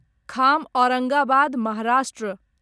Kham Aurangabad Maharashtra